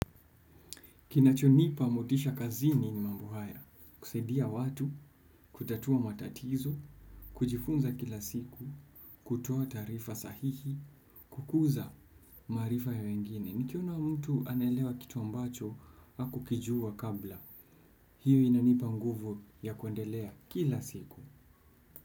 Kinachonipa motisha kazini ni mambo haya, kusaidia watu, kutatua matatizo, kujifunza kila siku, kutoa taarifa sahihi, kukuza maarifa ya wengine nikiona mtu anaelewa kitu ambacho, hakukijua kabla, hiyo inanipa nguvu ya kuendelea, kila siku.